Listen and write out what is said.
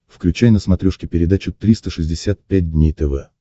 включай на смотрешке передачу триста шестьдесят пять дней тв